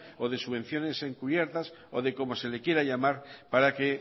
o de subvenciones encubiertas o de como se le quiera llamar para que